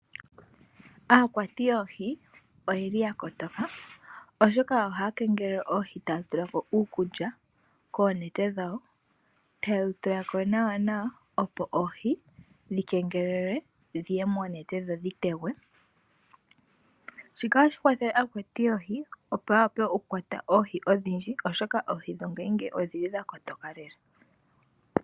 Aakwati yoohi ohaya kala ya kotoka, oshoka ohaya kengelele oohi taya tula ko iikulya koonete dhawo, taye yi tula ko nawa opo oohi dhi kengelelwe dhiye monete dho dhi tegwe. Shika ohashi kwathele aakwati yoohi, opo ya wape okukwata oohi odhindji, oshoka oohi dhimwe odhi li dha kotoka lela.